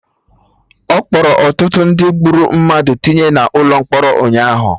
Akpọrọ ọtụtụ ndị gburu mmadụ tinye na ụlọ mkpọrọ ụnyaahụ